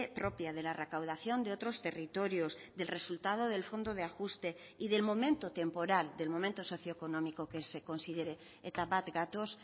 propia de la recaudación de otros territorios del resultado del fondo de ajuste y del momento temporal del momento socioeconómico que se considere eta bat gatoz